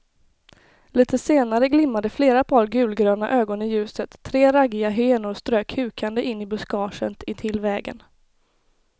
Litet senare glimmade flera par gulgröna ögon i ljuset, tre raggiga hyenor strök hukande in i buskaget intill vägen.